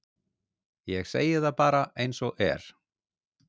ég segi það bara eins og er